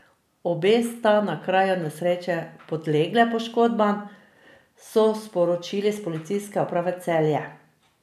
Obe sta na kraju nesreče podlegle poškodbam, so sporočili s Policijske uprave Celje.